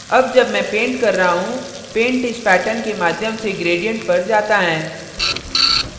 अब जब मैं paint कर रहा हूँ paint इस pattern के माध्यम से gradient पर जाता है